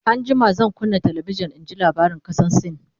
an jima zan kunna talabijan in ji labaran kasan sin